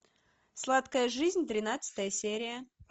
сладкая жизнь тринадцатая серия